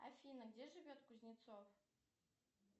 афина где живет кузнецов